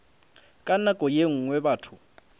ka nako ye nngwe batho